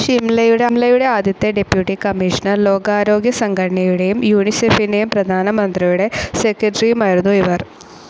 ഷിംലയുടെ ആദ്യത്തെ deputy commissioner, ലോകാരോഗ്യസംഘടനയുടെയും യൂണിസെഫിൻ്റെയും പ്രധാനമന്ത്രിയുടെ സെക്രട്ടറിയുമായിരുന്നു ഇവർ.